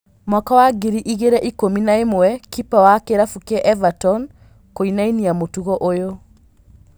Mwaka wa ngiri igĩrĩ ikũmi na ĩmwe kipa wa kĩrabu kĩa Everton kũinania mũtugo ũyũ